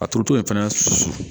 A turuto fɛnɛ